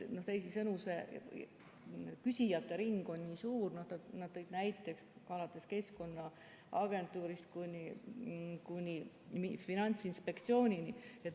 Teisisõnu, küsijate ring on nii suur, nad tõid näiteid alates Keskkonnaagentuurist kuni Finantsinspektsioonini.